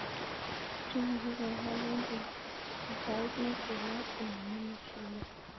Njuguk ko kekol eng' tutait ne chulat anan ne ma chulat